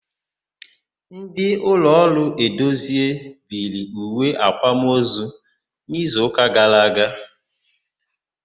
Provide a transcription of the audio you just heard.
Ndị ụlọọrụ Edozie biri uwe àkwámozu n'izuụka gara aga.